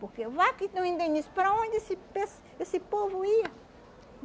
Porque vai que tu indeniza, para onde esse pes esse povo ia?